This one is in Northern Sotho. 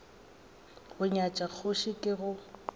go nyatša kgoši ke go